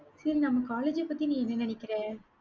சரி நம்ம college அ பத்தி நீ என்ன நினைக்கிற?